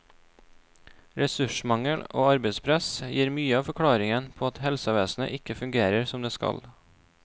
Ressursmangel og arbeidspress gir mye av forklaringen på at helsevesenet ikke fungerer som det skal.